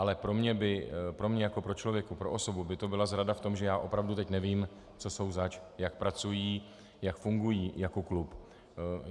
Ale pro mě jako pro člověka, pro osobu, by to byla zrada v tom, že já opravdu teď nevím, co jsou zač, jak pracují, jak fungují jako klub.